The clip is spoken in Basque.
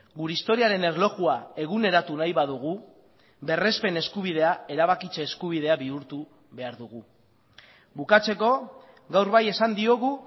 gure historiaren erlojua eguneratu nahi badugu berrespen eskubidea erabakitze eskubidea bihurtu behar dugu bukatzeko gaur bai esan diogu